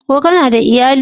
Ko kana da iyali?